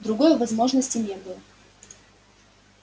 другой возможности не было